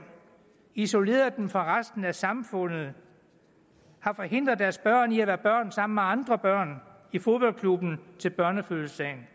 isoleret dem fra resten af samfundet har forhindret deres børn i at være børn sammen med andre børn i fodboldklubben og til børnefødselsdagen